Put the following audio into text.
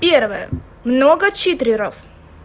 первое много читеров